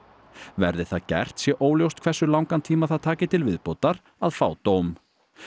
verði það gert sé óljóst hversu langan tíma það taki til viðbótar að fá dóm